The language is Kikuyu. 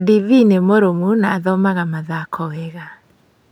Ndithii nũmũrũmu na athomaga mũthako wega.